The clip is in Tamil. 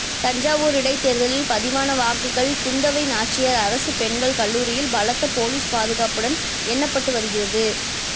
தஞ்சாவூர் இடைத்தேர்தலில் பதிவான வாக்குகள் குந்தவை நாச்சியார் அரசு பெண்கள் கல்லூரியில் பலத்த போலீஸ் பாதுகாப்புடன் எண்ணப்பட்டு வருகிறது